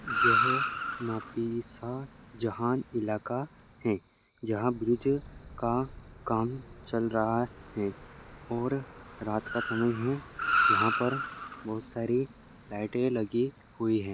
यह नाफी इसा जहा इलाका है जहा ब्रिज का काम चल रहा है और रात का समय है यहा पर बहुत सारी लाईटे लगी हुई है।